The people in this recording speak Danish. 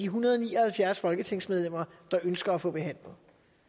hundrede og ni og halvfjerds folketingsmedlemmer der ønsker at få behandlet